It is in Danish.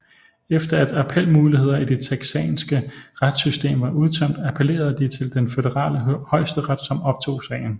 Efter at appelmuligheder i det texanske retssystem var udtømt appellerede de til den Føderale Højesteret som optog sagen